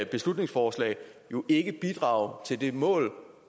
beslutningsforslag ikke bidrage til det mål